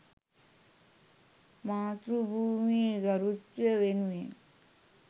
මාතෘ භූමියේ ගරුත්වය වෙනුවෙන්